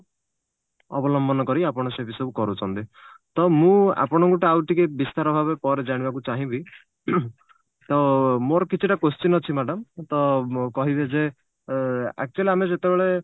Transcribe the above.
ଅବଲମ୍ବନ କରି ଆପଣ ସେଠି ସବୁ କରୁଛନ୍ତି ତ ମୁଁ ଆପଣଙ୍କୁ ଟିକେ ଆଉଟିକେ ବିସ୍ତାର ଭାବେ ପରେ ଜାଣିବାକୁ ଚାହିଁବି ତ ମୋର କିଛିଟା question ଅଛି madam ଅ କହିବେ ଯେ ଏ actually ଆମେ ଯେତେବେଳେ